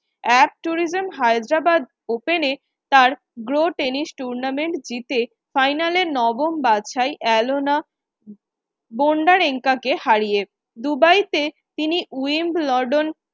tourism Hyderabad open এ tennis tournament জিতে final এ নবম বাছাই কে হারিয়ে। দুবাই তে তিনি wimbledon